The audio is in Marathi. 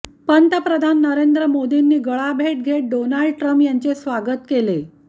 पंतप्रधान नरेंद्र मोदींनी गळाभेट घेत डोनाल्ड ट्रम्प यांचे स्वागत केले